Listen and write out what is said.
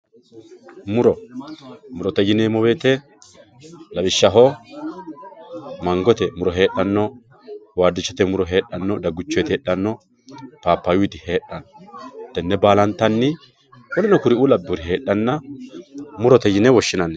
Muro, murote yineemo woyite lawishaho mangote muro heedhano, wadichote muro heedhano, daguchoyiti heedhano, papayuyiti heedhano tene baalantanni kurino kuri'uu labewori heedhana murote yine woshinanni